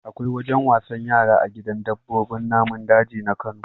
Akwai wajen wasan yara a gidan dabbobin namun daji na Kano.